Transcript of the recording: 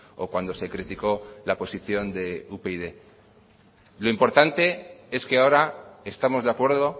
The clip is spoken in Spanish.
o cuando se criticó la posición de upyd lo importante es que ahora estamos de acuerdo